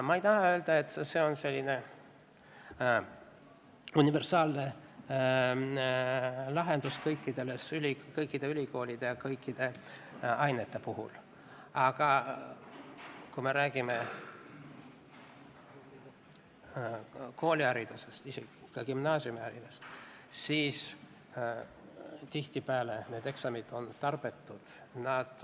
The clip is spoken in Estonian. Ma ei taha öelda, et see on selline universaalne lahendus kõikide ülikoolide ja kõikide ainete puhul, aga kui me räägime kooliharidusest, isegi gümnaasiumiharidusest, siis tihtipeale on need eksamid tarbetud.